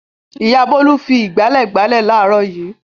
Ìyá Bólú fi ìgbálẹ̀ gbálẹ̀ láàárọ̀ yìí.